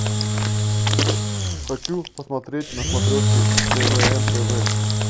хочу посмотреть на смотрежке квн тв